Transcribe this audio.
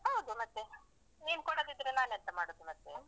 ಹೌದು ಮತ್ತೇ? ನೀನ್ ಕೊಡದಿದ್ರೆ ನಾನೆಂತ ಮಾಡದು ಮತ್ತೆ?